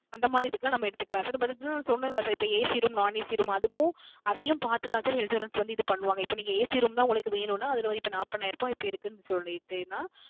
அந்த மாரி இதுக்கெல்லாம் நம்ம எடுத்துக்கலாம் Sir நம்ம இதுக்கு முன்னாடி சொன்னேன்ல Sir AC Room Non AC Room அதுக்கும் அதையும் பார்த்து தான் Sir Insurance இது பண்ணுவாங்க இப்போ AC Room தான் வேன்னும்ன அதில இப்போ நாற்பதாயிரம் இருக்கு னு சொல்லிட்டுன